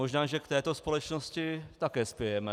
Možná že k této společnosti také spějeme.